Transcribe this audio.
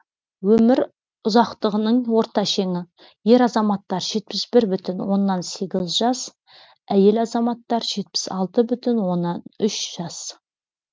өмір ұзақтығының орта шеңі ер азаматтар жетпіс бір бүтін оннан сегіз жас әйел азаматтар жетпіс алты бүтін оннан үш жас